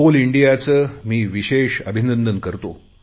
Coal इंडियाचे मी विशेष अभिनंदन करतो